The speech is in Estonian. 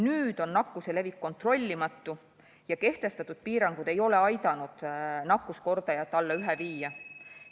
Nüüd on nakkuse levik kontrollimatu ja kehtestatud piirangud ei ole aidanud nakkuskordajat alla ühe viia.